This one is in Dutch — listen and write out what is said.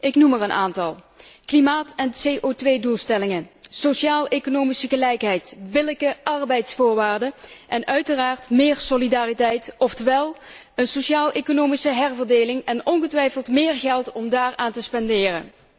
Ik noem er een aantal klimaat en CO 2 doelstellingen, sociaaleconomische gelijkheid, billijke arbeidsvoorwaarden en uiteraard meer solidariteit oftewel een sociaaleconomische herverdeling en ongetwijfeld meer geld om daaraan te spenderen.